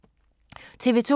TV 2